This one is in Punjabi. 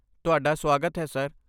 ਤੁਹਾਡਾ ਸੁਆਗਤ ਹੈ, ਸਰ।